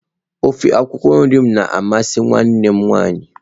Ofe akwụkwọ nri m na amasị nwanne m nwaanyị